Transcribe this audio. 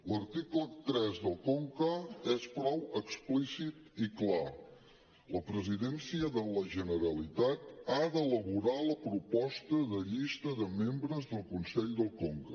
l’article tres del conca és prou explícit i clar la presidència de la generalitat ha d’elaborar la proposta de llista de membres del consell del conca